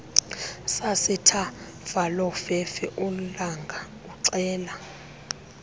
sasethafalofefe ulanga uxela